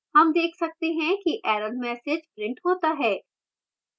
हम देख सकते हैं कि error message printed होता है